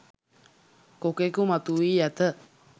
කොකෙකු මතුවී ඇත